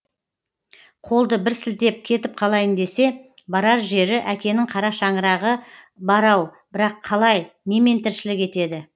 қолды бір сілтеп кетіп қалайын десе барар жері әкенің қара шаңырағы бар ау бірақ қалай немен тіршілік етеді